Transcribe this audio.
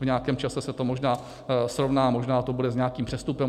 V nějakém čase se to možná srovná, možná to bude s nějakým přestupem.